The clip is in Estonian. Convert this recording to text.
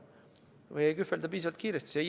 Või ei kühvelda piisavalt kiiresti.